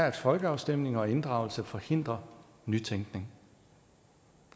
at folkeafstemninger og inddragelse forhindrer nytænkning